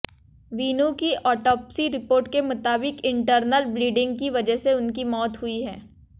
वीनू की autopsy report के मुताबिक इंटरनल ब्लीडिंग की वजह से उनकी मौत हुई है